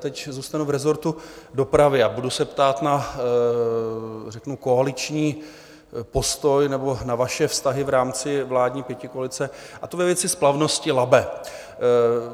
Teď zůstanu v rezortu dopravy a budu se ptát na řeknu koaliční postoj nebo na vaše vztahy v rámci vládní pětikoalice, a to ve věci splavnosti Labe.